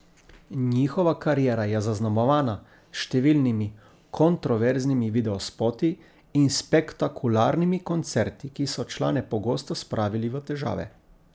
Njihova kariera je zaznamovana s številnimi kontroverznimi videospoti in spektakularnimi koncerti, ki so člane pogosto spravili v težave.